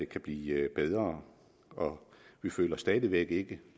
kan blive bedre og vi føler stadig væk ikke